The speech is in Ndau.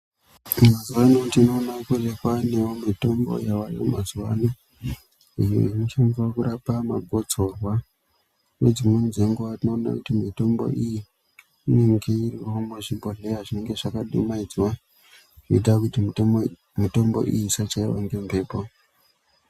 Mazuva ano ndinoona kunge kwanewo mitombo yavayo mazuvaano ,inoshandiswa kurapa magotsorwa .Nedzimweni dzenguva tinoona kuti inenge iyi muzvibhohlera zvinenge zvakadumaidzwa zvinoita kuti mitombo iyi osachaiwe ngembepo .